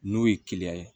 N'o ye ye